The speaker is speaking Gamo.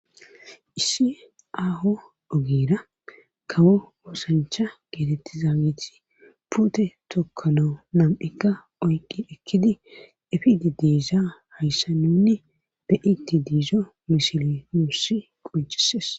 Issi aaho ogera kawo oosancha geetettiza mite pute tokkanawu nam7ikka oyqi ekkidi efidi deesza hayssa nunni be'di de'zo misili nussi qucises.